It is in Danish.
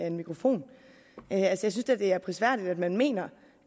en mikrofon jeg synes da at det er prisværdigt at man mener